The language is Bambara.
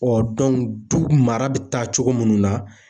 du mara bi taa cogo munnu na